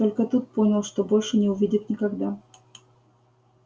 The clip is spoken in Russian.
только тут понял что больше не увидит никогда